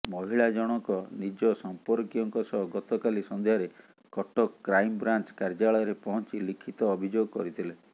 ମହିଳା ଜଣକ ନିଜ ସମ୍ପର୍କୀୟଙ୍କ ସହ ଗତକାଲି ସନ୍ଧ୍ୟାରେ କଟକ କ୍ରାଇମବ୍ରାଞ୍ଚ କାର୍ଯ୍ୟାଳୟରେ ପହଞ୍ଚି ଲିଖିତ ଅଭିଯୋଗ କରିଥିଲେ